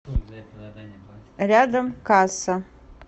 рядом касса